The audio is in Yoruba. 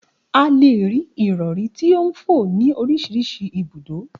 A lè rí ìrọ̀rí tí ó ń fò ni orísirísi ibùdó